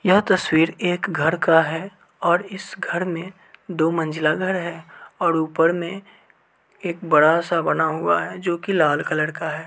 यह तस्वीर एक घर का है और इस घर मे दो मंजीला घर है और ऊपर मे एक बड़ा-सा बना हुआ है जो कि लाल कलर का है।